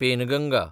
Penganga